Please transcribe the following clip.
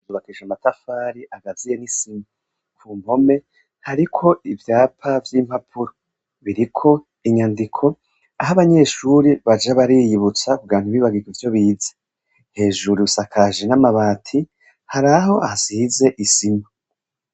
Yubakishije amatafari agaziye n'isima. Ku mpome hariko ivyapa vy'impapuro biriko inyandiko aho abanyeshuri baja bariyibutsa kugira ntibibagire ivyo bize hejuru rusakaje n'amabati hari aho hasize isima.